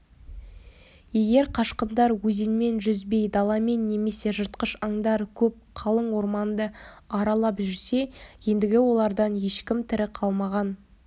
егер қашқындар өзенмен жүзбей даламен немесе жыртқыш аңдары көп қалың орманды аралап жүрсе ендігі олардан ешкім тірі қалмаған